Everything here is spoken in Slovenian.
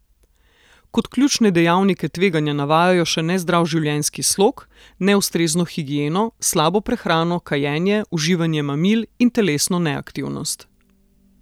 Kot ključne dejavnike tveganja navajajo še nezdrav življenjski slog, neustrezno higieno, slabo prehrano, kajenje, uživanje mamil in telesno neaktivnost.